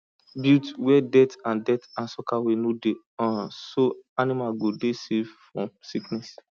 build where dirt and dirt and soakaway no dey um so animals go dey safe from sickness